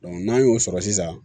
n'an y'o sɔrɔ sisan